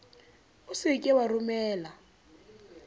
o se ke wa romella